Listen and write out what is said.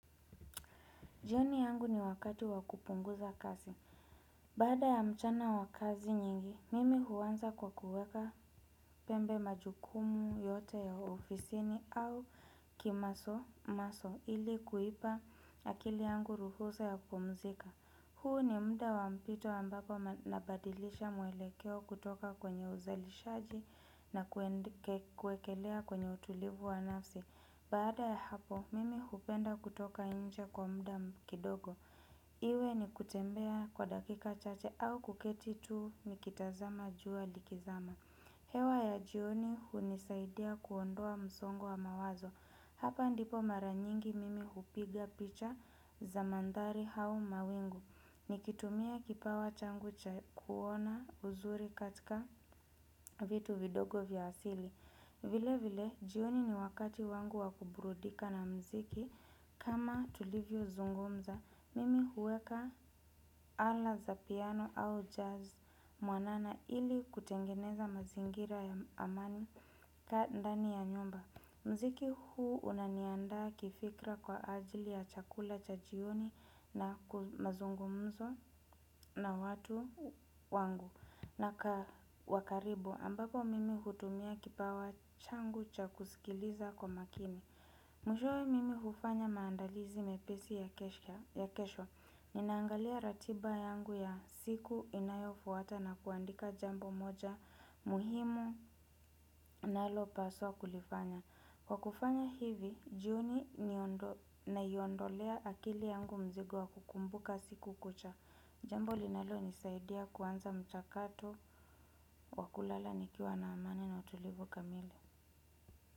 Jioni yangu ni wakati wakupunguza kasi. Bada ya mchana wakazi nyingi, mimi huanza kwa kuweka pembe majukumu yote ya ofisini au, kimaso maso ili kuipa akili yangu ruhusa ya kupumzika. Huu ni mda wa mpito ambapo nabadilisha mwelekeo kutoka kwenye uzali shaji na kuekelea kwenye utulivu wa nafsi. Baada ya hapo, mimi hupenda kutoka inje kwa mda mkidogo. Iwe ni kutembea kwa dakika chache au kuketi tu, nikitazama jua likizama. Hewa ya jioni hunisaidia kuondoa msongo wa mawazo. Hapa ndipo mara nyingi mimi hupiga picha za mandhari hau mawingu, nikitumia kipawa changu kuona uzuri katika vitu vidogo vya asili. Vile vile, jioni ni wakati wangu wakuburudika na mziki, kama tulivyozungumza, mimi huweka ala za piano au jaz mwanana ili kutengeneza mazingira ya amani kaa ndani ya nyumba. Mziki huu unaniandaa kifikra kwa ajili ya chakula cha jioni na kwa mazungumzo na watu wangu na wakaribu ambapo mimi hutumia kipawa changu cha kusikiliza kwa makini. Mwishowe mimi hufanya maandalizi mepesi ya kesho. Ninaangalia ratiba yangu ya siku inayofuata na kuandika jambo moja muhimu nalo paswa kulifanya. Kwa kufanya hivi, jioni naiondolea akili yangu mzigo wa kukumbuka siku kucha. Jambo linalo nisaidia kuanza mchakato, wakulala nikiwa na amani na utulivu kamili.